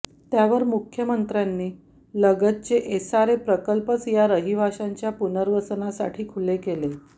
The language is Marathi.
त्यावर मुख्यमंत्र्यांनी लगतचे एसआरए प्रकल्पच या रहिवाशांच्या पुनर्वसनासाठी खुले केले